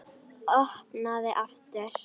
Opnaði aftur.